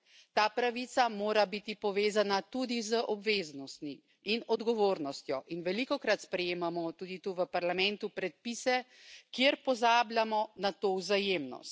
Ta pravica mora biti povezana tudi z obveznostmi in odgovornostjo in velikokrat sprejemamo tudi tu v Parlamentu predpise, kjer pozabljamo na to vzajemnost.